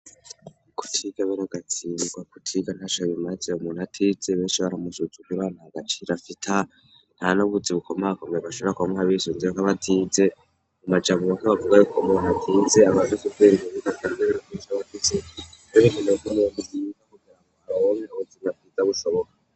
kutigabero gatsindwa kutiga ntashayemazee umuntu atise benshi baramusuzga ibana agaciro afita nta nubutsi bukomegakomeye abashobora koma abisunziye ko batinze u majambo bake bavuga rikomat atinze abazira bushoboka.